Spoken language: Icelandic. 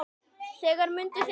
Mundu þegar